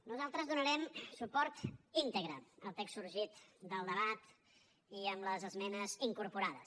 nosaltres donarem suport íntegre al text sorgit del debat i amb les esmenes incorporades